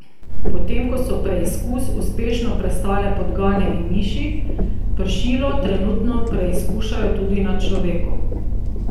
Potem ko so preizkus uspešno prestale podgane in miši, pršilo trenutno preizkušajo tudi na človeku.